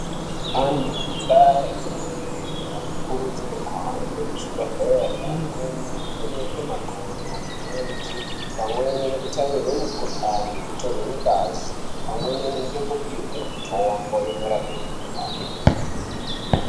Antu mundaa yatinobveyo anokurudzirwe kuhambe kuzvibhedhleri amweni anovhenekwe makodo, mirenje pamweni nekutaimirwe mikhuhlani nekutorwe ngazi pamweni nokupiwe mitombo inorape mikhuhlani.